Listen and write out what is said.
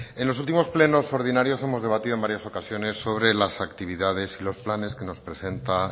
en los últimos plenos ordinarios hemos debatido en varias ocasiones sobre las actividades y los planes que nos presenta